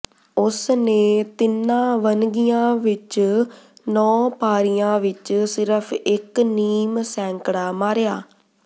ਉਸ ਨੇ ਤਿੰਨਾਂ ਵੰਨਗੀਆ ਵਿੱਚ ਨੌਂ ਪਾਰੀਆਂ ਵਿੱਚ ਸਿਰਫ਼ ਇੱਕ ਨੀਮ ਸੈਂਕੜਾ ਮਾਰਿਆ